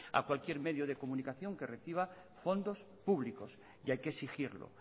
a cualquier medio de comunicación que reciba fondos públicos y hay que exigirlo